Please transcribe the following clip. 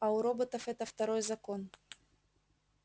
а у роботов это второй закон